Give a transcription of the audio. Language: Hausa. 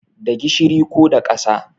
Da gishiri ko da ƙasa